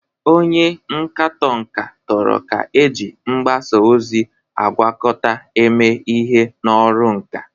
Onye nkatọ nka toro ka eji mgbasa ozi agwakọta eme ihe n'ọrụ nka.